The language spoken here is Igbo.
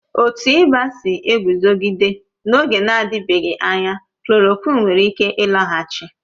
Otu ịba si eguzogide n'oge na-adịbeghị anya, klòròkwịn nwere ike ịlọghachi